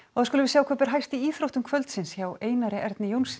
þá skulum við sjá hvað ber hæst í íþróttum kvöldsins hjá Einari Erni Jónssyni